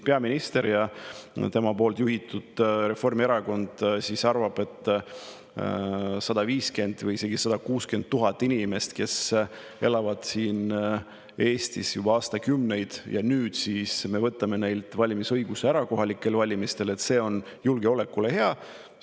Peaminister ja tema juhitud Reformierakond arvavad, et see on julgeolekule hea, kui me 150 000 või isegi 160 000 inimeselt, kes elavad Eestis juba aastakümneid, võtame nüüd kohalikel valimistel valimisõiguse ära.